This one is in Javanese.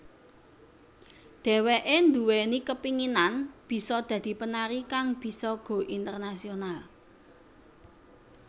Dheweké nduweni kepinginan bisa dadi penari kang bisa go internasional